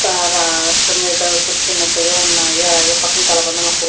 క రాడ్ల మీద కూర్చున్నట్టుగా ఉన్నాయి అలాగే పక్కన కలబంద మొక్కలు --